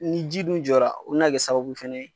Ni ji dun jɔra o bɛ n'a kɛ sababu fɛnɛ ye.